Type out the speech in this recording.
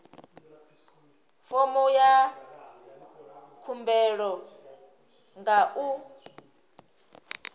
fomo ya khumbelo nga u